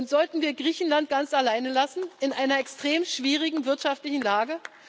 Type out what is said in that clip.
Sollten wir Griechenland ganz alleine lassen in einer extrem schwierigen wirtschaftlichen Lage?